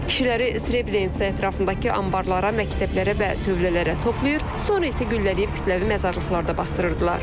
Kişiləri Srebrenitsa ətrafındakı anbarlara, məktəblərə və tövlələrə toplayır, sonra isə güllələyib kütləvi məzarlıqlarda basdırırdılar.